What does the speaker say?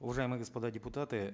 уважаемые господа депутаты